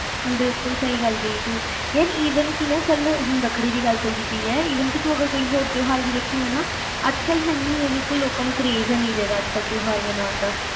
ਬਿਲਕੁਲ ਸਹੀ ਗੱਲ ਕਹੀ ਤੂੰ ਯਾਰ even ਕਿ ਨਾ ਚਲ ਹੁਣ ਰੱਖੜੀ ਦੀ ਗੱਲ ਚਲਦੀ ਪਈ ਆ ਕਿ ਤੂੰ ਕੋਈ ਹੋਰ ਤਿਉਹਾਰ ਵੀ ਦੇਖੇਗਾ ਨਾ ਅੱਜ ਕੱਲ ਹੈਨੀ ਲੋਕਾਂ ਨੂੰ craze ਤਿਉਹਾਰ ਮਨਾਉਣ ਦਾ